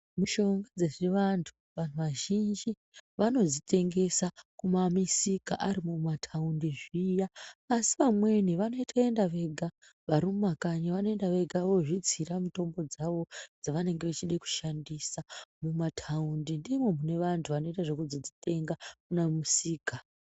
Mishonga dzezvivantu, vanhu vazhinji vanodzitengesa kumamisika ari mmumuthaundi zviya. Asi amweni vanotoenda vega vari mumakanyi vanoenda vega vozvitsira mitombo dzavo dzaanenge vachida kushandisa. Mumathaundi ndimwo mune vantu vanoita zvekuzodzitenda kana kumisika.